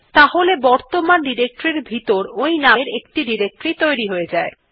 তাহলে বর্তমান ডিরেক্টরী এর ভিতর ওই নামের একটি ডিরেক্টরী তৈরী হয়ে যাবে